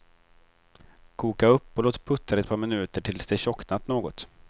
Koka upp och låt puttra ett par minuter tills det tjocknat något.